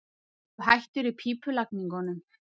Ertu hættur í pípulagningunum?